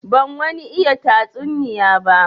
Ban wani iya tatsuniya ba.